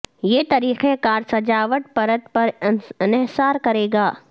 یہ طریقہ کار سجاوٹ پرت پر انحصار کرے گا